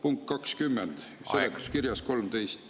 Punkt 20, seletuskirjas 13.